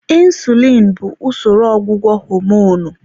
Insulin bụ usoro ọgwụgwọ homonụ.